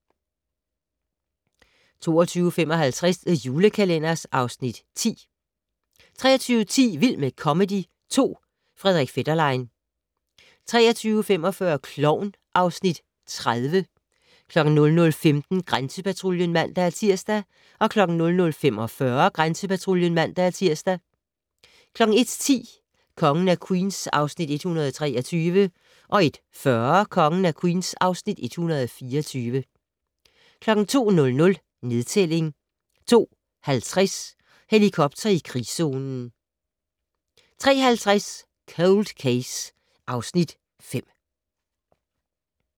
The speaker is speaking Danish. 22:55: The Julekalender (Afs. 10) 23:10: Vild med comedy 2 - Frederik Fetterlein 23:45: Klovn (Afs. 30) 00:15: Grænsepatruljen (man-tir) 00:45: Grænsepatruljen (man-tir) 01:10: Kongen af Queens (Afs. 123) 01:40: Kongen af Queens (Afs. 124) 02:00: Nedtælling 02:50: Helikopter i krigszonen 03:50: Cold Case (Afs. 5)